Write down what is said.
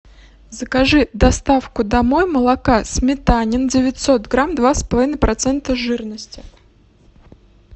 закажи доставку домой молока сметанин девятьсот грамм два с половиной процента жирности